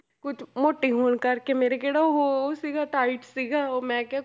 ਕੁਛ ਮੋਟੀ ਹੋਣ ਕਰਕੇ ਮੇਰੇ ਕਿਹੜਾ ਉਹ ਉਹ ਸੀਗਾ tight ਸੀਗਾ ਉਹ ਮੈਂ ਕਿਹਾ